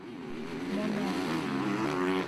монэ